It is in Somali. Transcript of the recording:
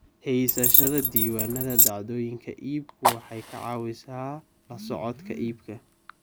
Haysashada diiwaannada dhacdooyinka iibku waxay ka caawisaa la socodka iibka.